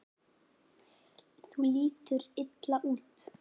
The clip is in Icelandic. Þú lítur illa út